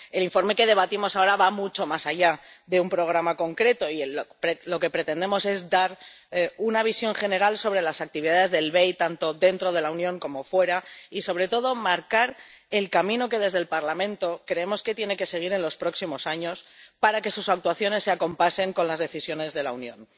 El informe que debatimos ahora va mucho más allá de un programa concreto y lo que pretendemos es dar una visión general sobre las actividades del BEI tanto dentro de la Unión como fuera y, sobre todo, marcar el camino que desde el Parlamento creemos que tiene que seguir en los próximos años para que sus actuaciones se acompasen con las decisiones de la Unión.